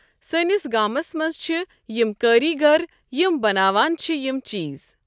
سٲنِس گامَس منٛز چھِ یِم کٲرۍگر یِم بَناون چھِ یِم چیٖز۔